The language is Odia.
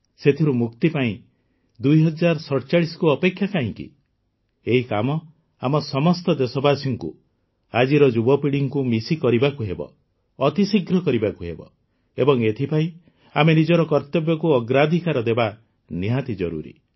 ସେଥିରୁ ମୁକ୍ତି ପାଇଁ ୨୦୪୭କୁ ଅପେକ୍ଷା କାହିଁକି ଏହି କାମ ଆମ ସମସ୍ତ ଦେଶବାସୀଙ୍କୁ ଆଜିର ଯୁବପିଢ଼ିକୁ ମିଶି କରିବାକୁ ହେବ ଅତିଶୀଘ୍ର କରିବାକୁ ହେବ ଏବଂ ଏଥିପାଇଁ ଆମେ ନିଜର କର୍ତ୍ତବ୍ୟକୁ ଅଗ୍ରାଧିକାର ଦେବା ନିହାତି ଜରୁରୀ